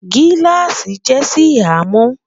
giláasi jé Si hàn mọ